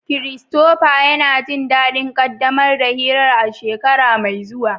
Christopher yana jin daɗin ƙaddamar da hirar a shekara mai zuwa.